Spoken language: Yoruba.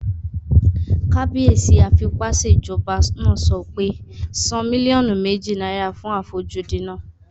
Kábíyèsí afipásèjọba náà sọ pé "san mílíọ̀nù méjì náírà fún àfojúdi náà!"